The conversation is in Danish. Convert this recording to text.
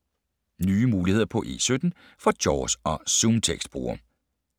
Nye muligheder på E17 for JAWS og ZoomText-brugere